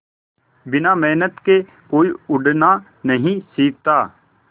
बिना मेहनत के कोई उड़ना नहीं सीखता